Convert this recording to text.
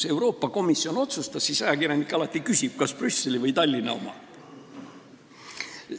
Kui Euroopa komisjon otsustas, siis ajakirjanik alati küsiks, kas Brüsseli või Tallinna oma.